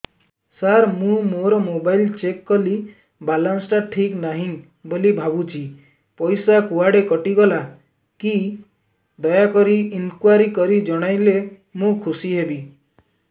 ସାର ମୁଁ ମୋର mobile check କଲି ବାଲାନ୍ସ ଟା ଠିକ ନାହିଁ ବୋଲି ଭାବୁଛି ପଇସା କୁଆଡେ କଟି ଗଲା କି ଦୟାକରି ଇନକ୍ୱାରି କରି ଜଣାଇଲେ ମୁଁ ଖୁସି ହେବି